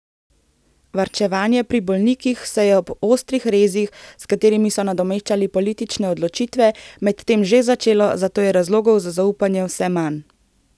Varčevanje pri bolnikih se je ob ostrih rezih, s katerimi so nadomeščali politične odločitve, medtem že začelo, zato je razlogov za zaupanje vse manj.